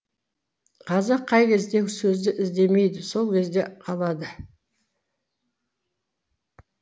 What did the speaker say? қазақ қай кезде сөзді іздемейді сол кезде қалады